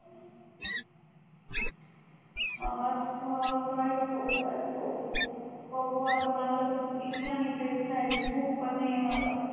आता काय खाऊ काय खाऊ बघू आता मला त इच्छा नाही काही खायची भूक पण नाही आहे मला